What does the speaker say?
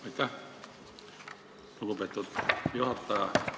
Aitäh, lugupeetud juhataja!